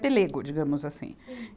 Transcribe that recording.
Pelego, digamos assim.